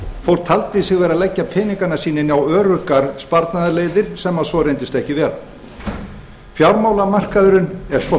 fólk taldi sig vera að leggja peningana sína inn á öruggar sparnaðarleiðir sem svo reyndist ekki vera fjármálamarkaðurinn er svo